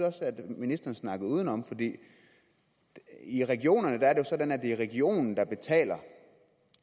også at ministeren snakkede udenom i regionerne er det jo sådan at det er regionen der betaler